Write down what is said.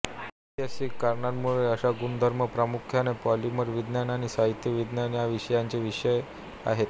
ऐतिहासिक कारणांमुळे अशा गुणधर्म प्रामुख्याने पॉलिमर विज्ञान आणि साहित्य विज्ञान या विषयांचे विषय आहेत